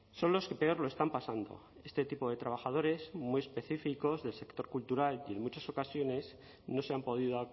son los que peor lo están pasando este tipo de trabajadores muy específicos del sector cultural y en muchas ocasiones no se han podido